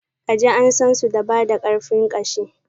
kaji an sansu da bada karfin ƙashi.